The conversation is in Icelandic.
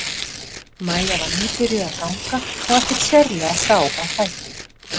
Maja var nýbyrjuð að ganga og ekkert sérlega frá á fæti.